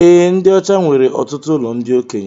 Ee, ndi ọchá nwere ọtụtụ ụlọ ndị okenye